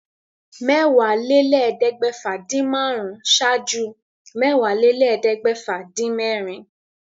Mẹ́wàálélẹ́ẹ̀ẹ́dẹ́gbẹ́fà-dín-márùn-ún ṣáájú Mẹ́wàálélẹ́ẹ̀ẹ́dẹ́gbẹ́fà-dín-mẹ́rin.